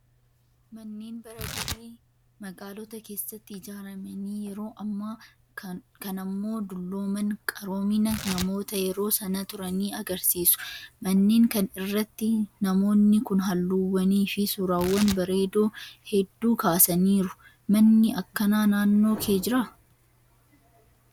Manneen bara durii magaalota keessatti ijaaramanii yeroo ammaa kanammoo dullooman qaroomina namoota yeroo sana turanii agarsiisu. Manneen kan irratti namoonni kun halluuwwanii fi suuraawwan bareedoo hedduu kaasaniiru. Manni akkanaa naannoo kee jiraa?